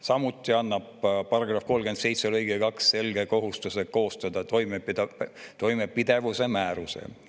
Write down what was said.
Samuti annab § 37 lõige 2 selge kohustuse koostada toimepidevuse määrus.